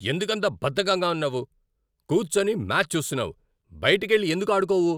ఎందుకంత బద్ధకంగా ఉన్నావు, కూర్చొని మ్యాచ్ చూస్తున్నావు? బయటికెళ్ళి ఎందుకు ఆడుకోవు?